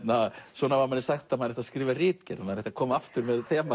svona var manni sagt að maður ætti að skrifa ritgerð maður ætti að koma aftur með þema